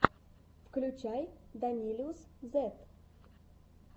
включай данилиусзет